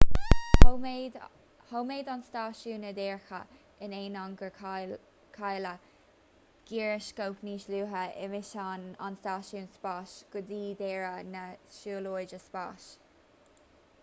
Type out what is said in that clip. choimeád an stáisiún a dhearcadh in ainneoin gur cailleadh gíreascóp níos luaithe i misean an stáisiúin spáis go dtí deireadh na siúlóide spáis